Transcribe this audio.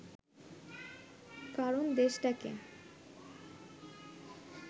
কারণ দেশটাকে